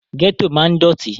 Gẹ́tò máa ń dọ̀tí